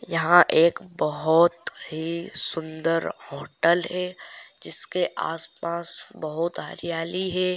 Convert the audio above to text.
यहाँ एक बहोत ही सुंदर होटल हैं। जिस के आस पास बहुत हरियाली हैं।